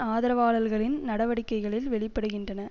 ஆதரவாளர்களின் நடவடிக்கைகளில் வெளிப்படுகின்றன